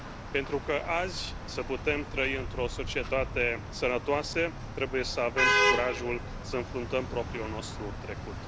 Pentru ca azi să putem trăi într o societate sănătoasă, trebuie să avem curajul să înfruntăm propriul nostru trecut.